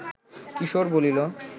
কিশোর বলিল